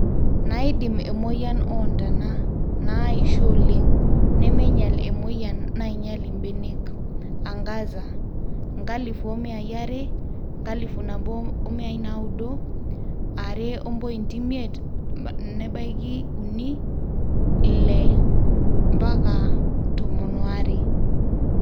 naaidimu emoyian oontana, naaisho oleng, nemeinyal emweyian nainyal imbenek. Angaza 1200 1900 2.5-3 6-12